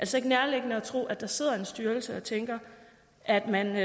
så ikke nærliggende at tro at der sidder en styrelse og tænker at man